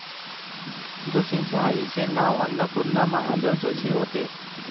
जोशींच्या आईचे नाव अन्नपूर्णा महादेव जोशी होते.